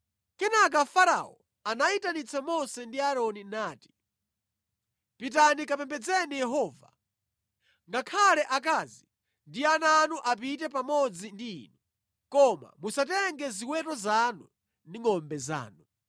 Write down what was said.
Kenaka Farao anayitanitsa Mose ndi Aaroni nati, “Pitani kapembedzeni Yehova. Ngakhale akazi ndi ana anu apite pamodzi ndi inu. Koma musatenge ziweto zanu ndi ngʼombe zanu.”